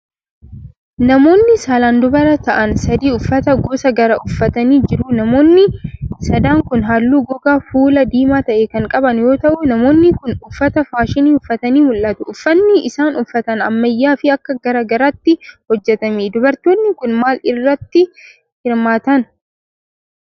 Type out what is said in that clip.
Namoonni saalaan dubara ta'an sadi, uffata gosa garaa uffatanii jiru. Namoonni sadan kun, haalluu gogaa fuulaa diimaa ta'e kan qaban yoo ta'u, namoonni kun uffata faashinii uffatanii mul'atu. Uffanni isaan uffatan ammayyaa fi akka gara garaatti hojjatame. Dubartoonni kun, maal irratti hirmaatan?